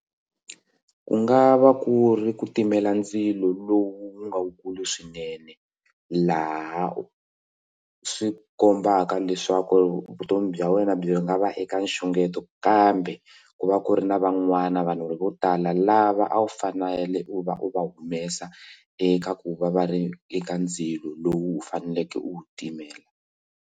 Ku nga va ku ri ku timela ndzilo lowu nga wukulu swinene laha swi kombaka leswaku vutomi bya wena byi nga va eka nxungeto kambe ku va ku ri na van'wana vanhu vo tala lava a wu fanele u va u va humesa eka ku va va ri eka ndzilo lowu u faneleke u wu timela.